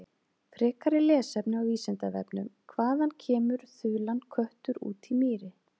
Frekara lesefni á Vísindavefnum: Hvaðan kemur þulan köttur út í mýri.